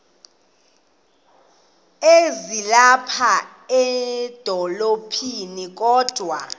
ezilapha edolophini kodwa